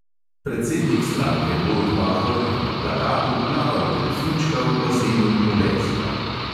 Predsednik stranke borut pahor je na plakatu plaval delfinčka v bazenu kolezija.